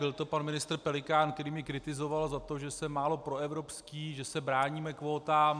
Byl to pan ministr Pelikán, který mě kritizoval za to, že jsem málo proevropský, že se bráníme kvótám.